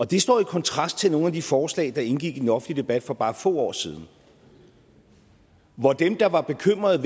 det står i kontrast til nogle af de forslag der indgik i den offentlige debat for bare få år siden hvor dem der var bekymrede